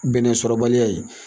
Bɛnɛsɔrɔbaliya ye